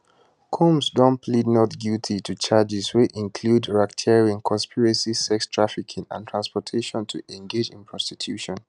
combs don plead not guilty to charges wey include racketeering conspiracy sex trafficking and transportation to engage in prostitution